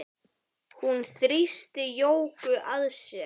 Hún þrýsti Jóku að sér.